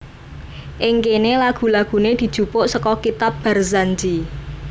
Ing kene lagu lagune dijupuk seka kitab Barzanji